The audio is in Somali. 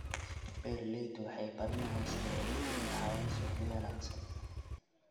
Beeraleydu waxay baranayaan sidii ay u heli lahaayeen suuqyo wanaagsan.